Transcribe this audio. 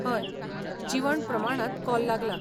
हय, जीवन प्रमाणांत कॉल लागलां.